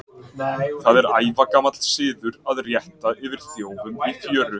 Það er ævagamall siður að rétta yfir þjófum í fjöru.